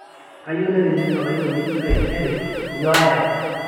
kayieu nairegister olaini ngejuk taisere nyoo ayau